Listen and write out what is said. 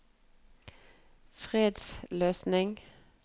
fredsløsning